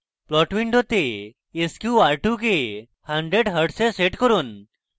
plot window sqr2 কে 100 hz এ set করুন